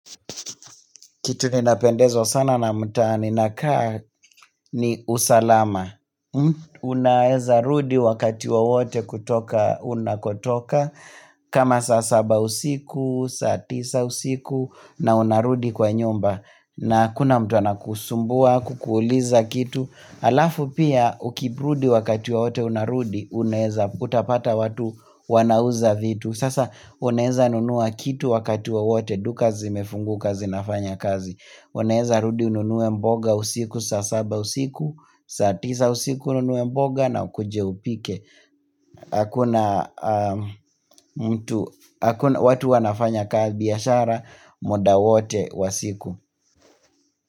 Kitu ninapendezwa sana na mtaa ninakaa ni usalama. Unaeza rudi wakati wowote kutoka unakotoka. Kama saa saba usiku, saa tisa usiku na unarudi kwa nyumba. Na hakuna mtu anakusumbua, kukuuliza kitu. Alafu pia ukirudi wakati wowote unarudi, unaeza utapata watu wanauza vitu. Sasa unaeza nunua kitu wakati wowote duka zimefunguka zinafanya kazi. Unaeza rudi ununue mboga usiku saa saba usiku saa tisa usiku ununue mboga na ukuje upike Hakuna mtu watu wanafanyanga biashara muda wote wa siku.